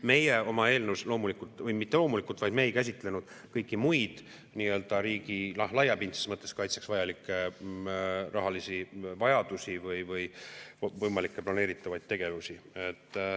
Meie oma eelnõus loomulikult, või mitte loomulikult, vaid me ei käsitlenud kõiki muid riigi laiapindse kaitse mõttes vajalikke rahalisi vajadusi või võimalikke planeeritavaid tegevusi.